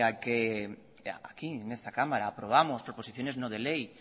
que aquí en esta cámara aprobamos proposiciones no de ley